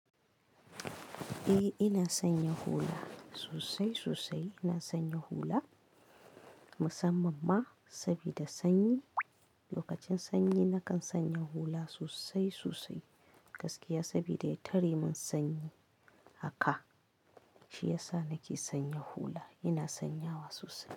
Eh ina sanya hula sosai sosai. Ina sanya hula musamman ma saboda sanyi. Lokacin sanyi nakan sanya hula sosai sosai gaskiya sabida ya tare min sanyi haka. Shi yasa nake sanya hula. Ina sanyawa sosai.